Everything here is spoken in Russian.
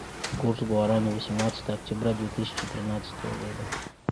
курс гуарани восемнадцатое октября две тысячи тринадцатого года